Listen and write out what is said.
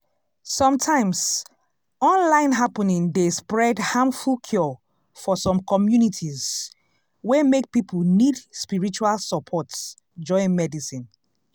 sometimes online happening dey spread harmful cure for some communities wey make people need spiritual support join medicine.